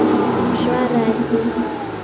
Hún svaraði því.